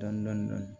Dɔni dɔni dɔni